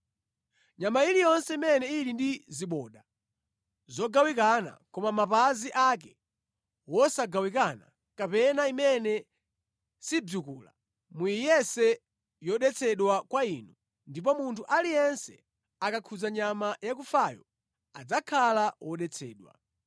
“ ‘Nyama iliyonse imene ili ndi ziboda zogawikana koma mapazi ake wosagawikana, kapena imene sibzikula muyiyese yodetsedwa kwa inu ndipo munthu aliyense akakhudza nyama yakufayo, adzakhala wodetsedwa.